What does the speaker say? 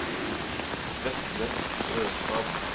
Vetle Røstad